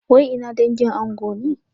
Wai ina dangin ango ne?